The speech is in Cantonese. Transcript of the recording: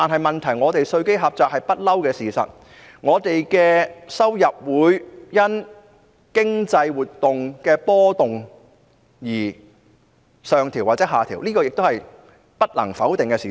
問題是香港的稅基一向狹窄，政府收入亦會因經濟活動的波動而上調或下調，這也是不能否定的事實。